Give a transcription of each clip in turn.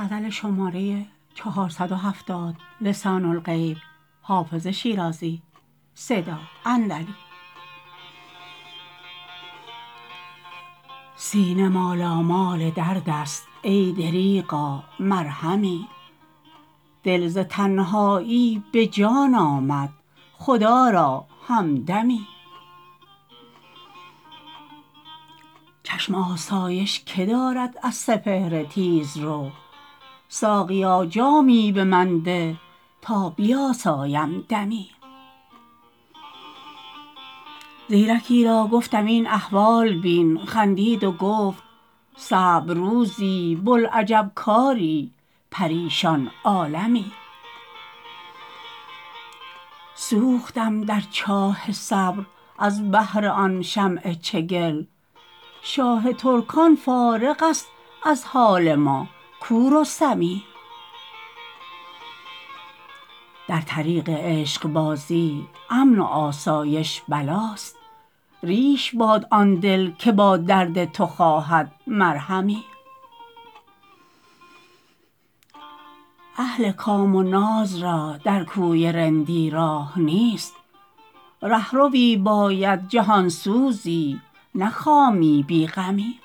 سینه مالامال درد است ای دریغا مرهمی دل ز تنهایی به جان آمد خدا را همدمی چشم آسایش که دارد از سپهر تیزرو ساقیا جامی به من ده تا بیاسایم دمی زیرکی را گفتم این احوال بین خندید و گفت صعب روزی بوالعجب کاری پریشان عالمی سوختم در چاه صبر از بهر آن شمع چگل شاه ترکان فارغ است از حال ما کو رستمی در طریق عشق بازی امن و آسایش بلاست ریش باد آن دل که با درد تو خواهد مرهمی اهل کام و ناز را در کوی رندی راه نیست رهروی باید جهان سوزی نه خامی بی غمی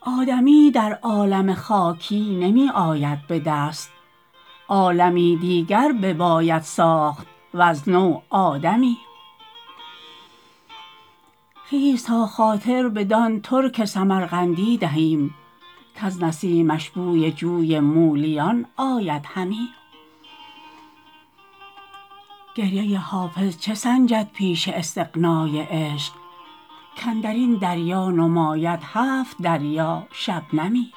آدمی در عالم خاکی نمی آید به دست عالمی دیگر بباید ساخت وز نو آدمی خیز تا خاطر بدان ترک سمرقندی دهیم کز نسیمش بوی جوی مولیان آید همی گریه حافظ چه سنجد پیش استغنای عشق کاندر این دریا نماید هفت دریا شبنمی